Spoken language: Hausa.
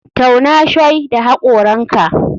Tauna shoi da hakoranka.